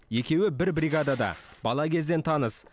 екеуі бір бригадада бала кезден таныс